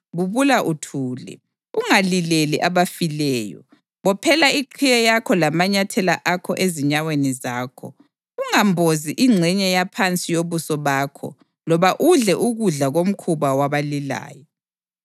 Bubula uthule; ungalileli abafileyo. Bophela iqhiye yakho lamanyathela akho ezinyaweni zakho; ungambozi ingxenye yaphansi yobuso bakho loba udle ukudla komkhuba wabalilayo.”